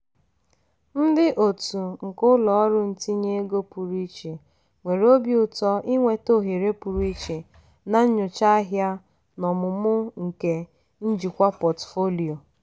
ndị otu nke ụlọ ọrụ ntinye ego pụrụ iche nwere obi ụtọ inweta ohere pụrụ iche na nchọcha ahịa na ọmụmụ nke njikwa pọtụfoliyo.